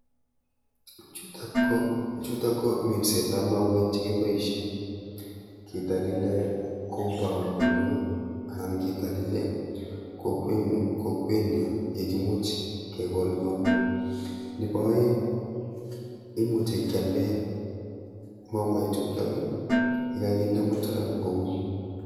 Chutok ko chutok ko minsetap mauek chekiboishe kitalile compound nenyo anan kitalile kokwenyo yekimuch kekol kouni. nepo oeng imuchi kyalde mauechutok yekakinde mutura kouni.